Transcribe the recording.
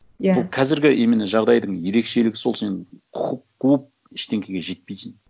иә бұл қазіргі именно жағдайдың ерекшелігі сол сен құқық қуып ештеңеге жетпейсің